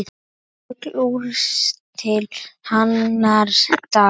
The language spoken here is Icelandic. Öll úrslit annars dags